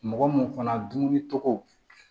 Mɔgɔ mun fana dumuni tɔgɔ